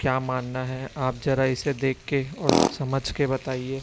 क्या मानना है आप जरा इसे देख के और समझ के बताइए।